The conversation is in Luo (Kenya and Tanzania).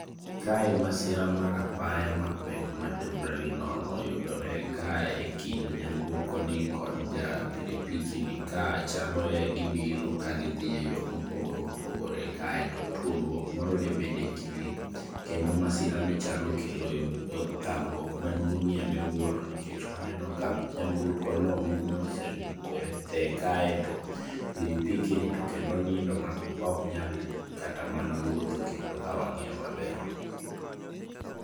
kae masira mar apaya mapek motamre gi nono oyudore kae kind nyamburko ni kod ja pikipiki ni ,kae chaloe gi biro ka gidhi e yor mopogore opogore kae tuomruok moro debed e kind gi kendo masira ni chalo okelo thagruok maduongie miwuoro nikech waneno ka nyamburko no ume osemukore kae to kendo pikipiki ni to kendo onindo ma ok nyal kata man wuotho kendo ka wang'iyo maber